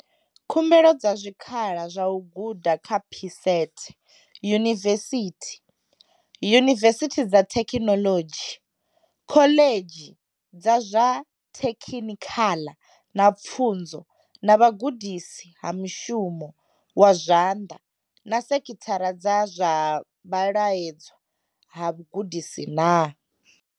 Khumbelo dza zwikhala zwa u guda kha PSET yunivesithi, yunivesithi dza thekhinolodzhi, khoḽedzhi dza zwa thekhinikhala na pfunzo na vhugudisi ha mushumo wa zwanḓa na sekithara dza zwa vhalaedzwa ha vhugudisi na?